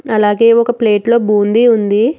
అలాగే ఒక ప్లేట్లో బూందీ ఉంది.